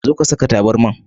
Zo ka Saka taburman.